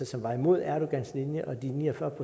som var imod erdogans linje og de ni og fyrre